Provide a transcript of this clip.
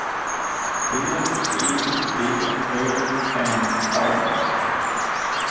B E D Ö M A